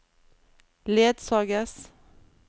ledsages